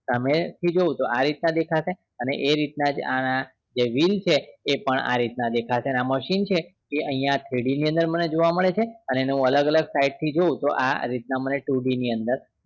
સામે થી જોઉં તો આ રીત નું દેખાશે અને એ રીત ના જ આ જે while છે એ પણ આ રીત ના દેખાશે અને આ machine છે એ અહિયાં three d ની અંદર મને જોવા મળે છે અને એનો અલગ અલગ side થી જોઉં તો આ રીત ના મને too d ની અંદર